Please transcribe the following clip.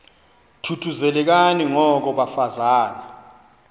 thuthuzelekani ngoko bafazana